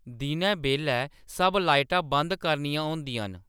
दिनै बेल्लै सब लाइटां बंद करनियां होंदियां न